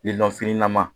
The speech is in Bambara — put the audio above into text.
fini nama